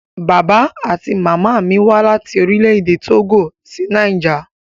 Bàbá àti màmá mí wá láti Orílẹ̀-èdè Tógò sí Niger.